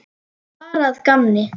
Bara að gamni.